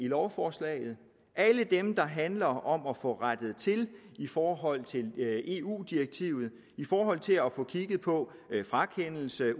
lovforslaget alle dem der handler om at få rettet til i forhold til eu direktivet i forhold til at få kigget på frakendelse af